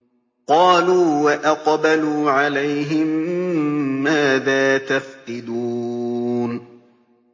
قَالُوا وَأَقْبَلُوا عَلَيْهِم مَّاذَا تَفْقِدُونَ